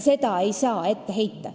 Seda ei saa ette heita.